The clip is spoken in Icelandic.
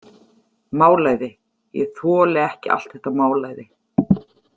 Málæði Ég þoli ekki allt þetta málæði.